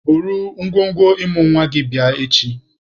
Buru ngwongwo ịmụ nwa gị bịa echi!